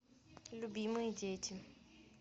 любимые дети